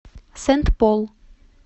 сент пол